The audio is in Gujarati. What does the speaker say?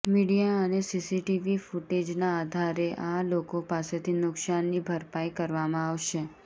મીડિયા અને સીસીટીવી ફૂટેજના આધારે આ લોકો પાસેથી નુકશાનની ભરપાઈ કરવામાં આવશે